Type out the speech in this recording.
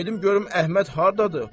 Gedim görüm Əhməd hardadır.